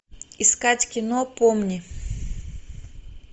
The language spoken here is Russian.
искать кино помни